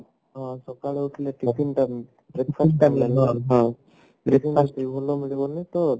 ସଖାଳୁ ଉଠିଲେ tiffin ଟା main ମିଳିଗଲେ ତ